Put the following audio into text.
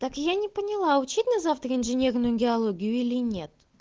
так я не поняла учить на завтра инженерную индеалогию или нет